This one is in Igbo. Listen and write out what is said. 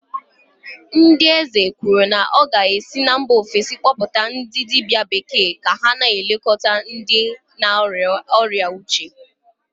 ndị eze kwuru na ọ ga-esi na mba ofesi kpọpụta ndị dibia bekee ka ha na-elekọta ndị na-arịa ọrịa uche